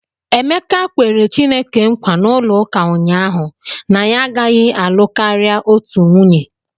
Emeka kwere Chineke nkwa n'ụlọụka ụnyahụ na ya agaghị alụ karịa otu nwunye.